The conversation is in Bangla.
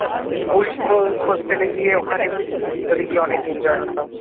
ওই ধর hostel গিয়ে ওখানে ভিতরে গিয়ে অনেক enjoy হতো।